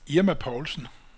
Irma Poulsen